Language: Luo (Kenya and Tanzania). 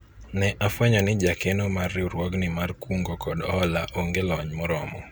ne afwenyo ni jakeno mar riwruogni mar kungo kod hola onge kod lony moromo